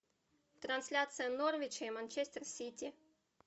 трансляция норвича и манчестер сити